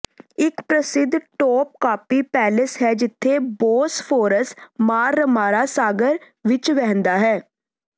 ਇਕ ਪ੍ਰਸਿੱਧ Topkapi palace ਹੈ ਜਿੱਥੇ ਬੌਸਫੋਰਸ ਮਾਰਰਮਾਰਾ ਸਾਗਰ ਵਿਚ ਵਹਿੰਦਾ ਹੈ